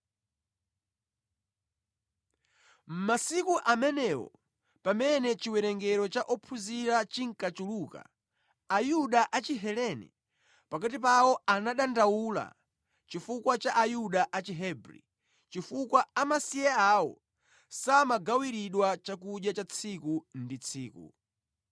Mʼmasiku amenewo pamene chiwerengero cha ophunzira chinkachuluka, Ayuda a Chihelene pakati pawo anadandaula chifukwa cha Ayuda a Chihebri chifukwa amasiye awo samawagawira chakudya cha tsiku ndi tsiku.